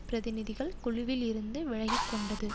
பிரதிநிதிகள் குழுவில் இருந்து விலகி கொண்டது